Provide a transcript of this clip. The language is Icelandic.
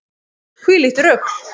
Hvílíkt rugl!